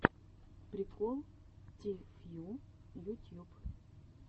прикол ти фью ютьюб